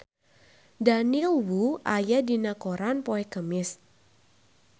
Daniel Wu aya dina koran poe Kemis